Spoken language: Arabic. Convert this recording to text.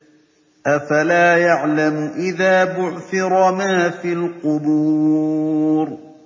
۞ أَفَلَا يَعْلَمُ إِذَا بُعْثِرَ مَا فِي الْقُبُورِ